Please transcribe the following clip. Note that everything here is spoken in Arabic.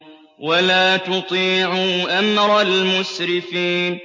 وَلَا تُطِيعُوا أَمْرَ الْمُسْرِفِينَ